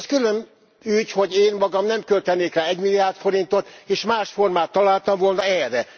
Az külön ügy, hogy én magam nem költenék rá 1 milliárd forintot, és más formát találtam volna erre.